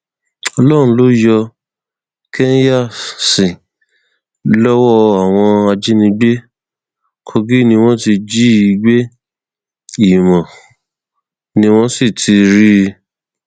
ọlọrun ló yọ kenyasit lọwọ àwọn ajìnígbé kogi ni wọn ti jí i gbé ìmọ ni wọn ti rí i